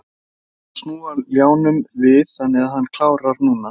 Hann er búinn að snúa ljánum við þannig að hann klárar núna.